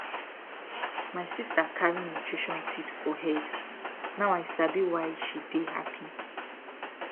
my sister carry nutrition tips for head now i sabi why she dey happy